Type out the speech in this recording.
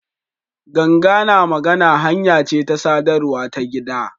Ganga na magana hanya ce ta sadarwa ta gida.